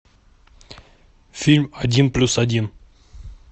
фильм один плюс один